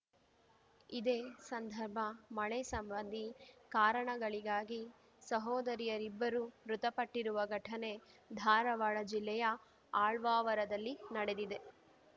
ಇದೇ ಸಂದರ್ಭ ಮಳೆ ಸಂಬಂಧಿ ಕಾರಣಗಳಿಗಾಗಿ ಸಹೋದರಿಯರಿಬ್ಬರು ಮೃತಪಟ್ಟಿರುವ ಘಟನೆ ಧಾರವಾಡ ಜಿಲ್ಲೆಯ ಆಳ್ವಾವರದಲ್ಲಿ ನಡೆದಿದೆ